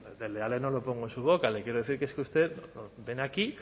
desleales no lo pongo en su boca le quiero decir que es que usted viene aquí